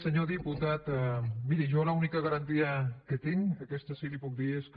senyor diputat miri jo l’única garantia que tinc aquesta sí que la hi puc dir és que